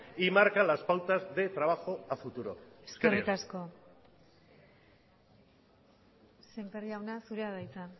y marca las pautas de trabajo a futuro eskerrik asko sémper jauna zurea da hitza